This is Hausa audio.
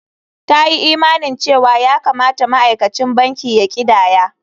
Ta yi imanin cewa ya kamata ma'aikacin banki ya ƙidaya.